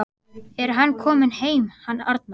Er hann kominn heim hann Arnar?